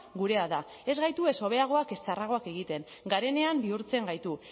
gurea da ez gaitu ez hobeagoak ez txarragoak egiten garenean bihurtzen gaitu